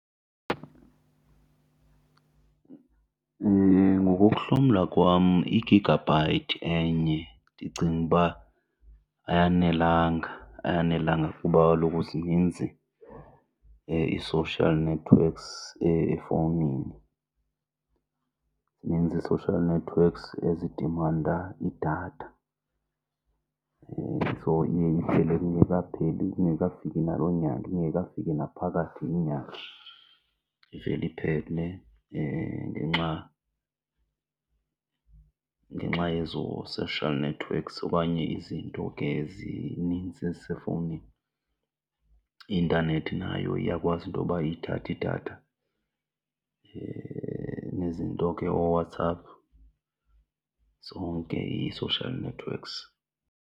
Ngokokuhlomla kwam i-gigabyte enye ndicinga uba ayanelanga, ayanelanga kuba kaloku zininzi ii-social networks efowunini, zininzi ii-social networks ezidimanda idatha. So iye iphele kungekapheli kungekafiki naloo nyanga, ingekafiki naphakathi inyanga. Ivele iphele ngenxa, ngenxa yezo social networks okanye izinto ke zinintsi ezisefowunini. I-intanethi nayo iyakwazi into yoba iyithathe idatha, nezinto ke ooWhatsApp, zonke ii-social networks.